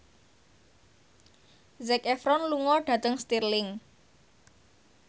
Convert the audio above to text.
Zac Efron lunga dhateng Stirling